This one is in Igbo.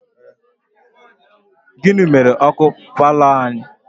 Gịnị mere ọkụ paalọ a?